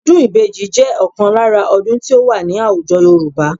Ọdún ìbejì jẹ́ ọ̀kan lára ọdún tí ó wà ní àwùjọ Yorùbá